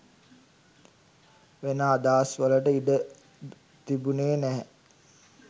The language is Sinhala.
වෙන අදහස් වලට ඉඩ තිබුනේ නැහැ.